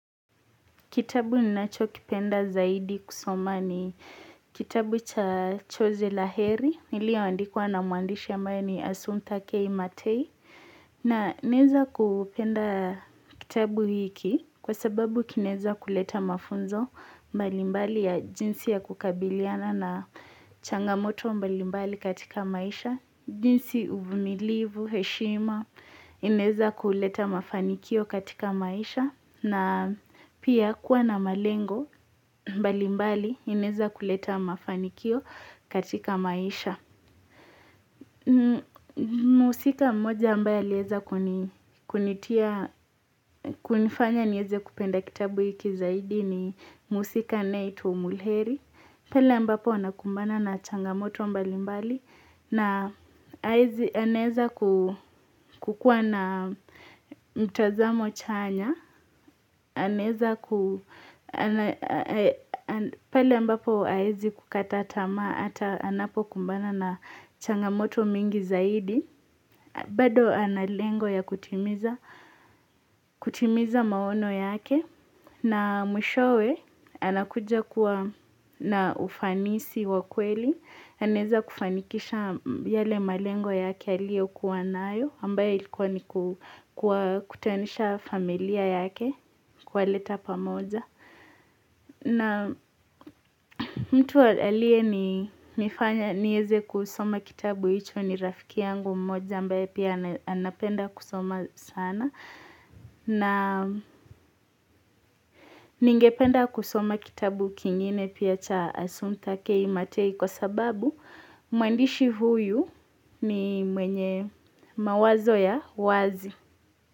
Kitabu ninacho kipenda zaidi kusoma ni kitabu cha Chozi la heri, iliyoandikuwa na mwandishi ambaya ni Asumpta Kei Matei. Na naweza kupenda kitabu hiki kwa sababu kinaweza kuleta mafunzo mbalimbali ya jinsi ya kukabiliana na changamoto mbalimbali katika maisha. Jinsi uvumilivu, heshima, inaweza kuleta mafanikio katika maisha na pia kuwa na malengo, mbalimbali, inaweza kuleta mafanikio katika maisha Muhusika moja ambaya aliweza kunitia, kunifanya, niweze kupenda kitabu ikizaidi ni mhusika anayeitwa umulkheri Pele mbapo anakumbana na changamoto mbali mbali na aneza kukuwa na mtazamo chanya. Pale ambapo hawezi kukata taama hata anapokumbana na changamoto mingi zaidi. Bado analengo ya kutimiza maono yake, na mwishowe anakuja kuwa na ufanisi wa kweli, anaweza kufanikisha yale malengo yake aliyokuwa nayo, ambaye ilikuwa ni kuwakutanisha familia yake, kuwaleta pamoja. Na mtu aliye nifanya niweze kusoma kitabu hicho ni rafiki yangu mmoja ambaye pia anapenda kusoma sana. Na ningependa kusoma kitabu kingine pia cha Asumpta K Matei kwa sababu mwandishi huyu ni mwenye mawazo ya wazi.